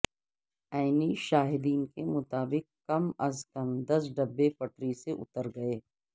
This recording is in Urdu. عینی شاہدین کے مطابق کم از کم دس ڈبے پٹری سے اتر گئے